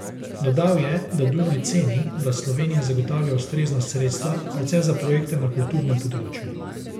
Dodal je, da Dunaj ceni, da Slovenija zagotavlja ustrezna sredstva, predvsem za projekte na kulturnem področju.